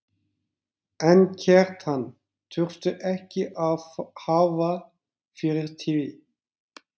En Kjartan þurfti ekki að hafa fyrir því.